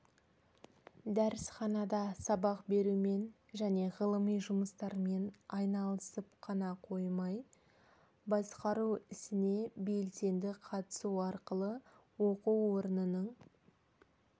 дәрісханада сабақ берумен және ғылыми жұмыстармен айналысып қоймай басқару ісіне белсенді қатысу арқылы оқу орнының